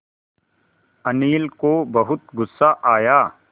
अनिल को बहुत गु़स्सा आया